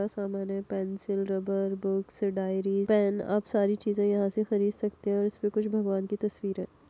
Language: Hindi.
समान है pencil rubber books diary pen आप सारी चीज़े यहाँ से खरीद सकते हो इसमें कुछ भगवान की तस्वीर है।